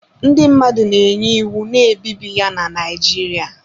Ndị mmadụ na-enye iwu na-ebibi ya na Naijiria.